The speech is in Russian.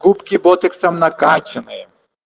губки ботоксом накаченные